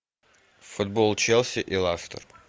футбол челси и лестер